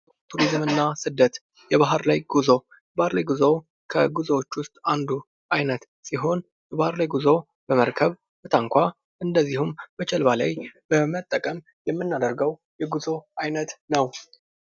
ቱሪዝምና ስደት ፡-የባህር ላይ ጉዞ ከጉዞ አይነቶች መካከል አንዱ ሲሆን ይህ ጉዞ በመርከብ፣ በታንኳ፣ እንዲሁም በጀልባ የምናደርገው የጉዞ አይነት ነው ።